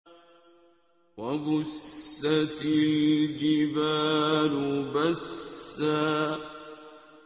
وَبُسَّتِ الْجِبَالُ بَسًّا